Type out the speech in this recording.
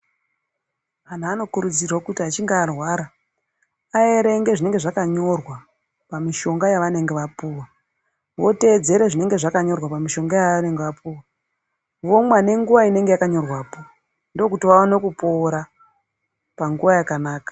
Vantu vanokurudzirwa kuti vachinge varwa aerenge zvinenge zvakanyorwa pamushonga yavanenge vapuwa votevedzere zvinenge zvakanyorwa pamushonga yavanenge vapuwa vomwa nenguwa inenge yakanyorwa po ndokuti vaone kupora panguwa yakanaka.